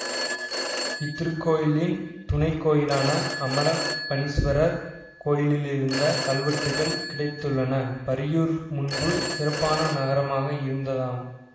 இத்திருக்கோயிலின் துணைக்கோயிலான அமரப்பணீஸ்வரர் கோயிலிலிருந்து கல்வெட்டுகள் கிடைத்துள்ளன பரியூர் முன்பு சிறப்பான நகரமாக இருந்ததாம்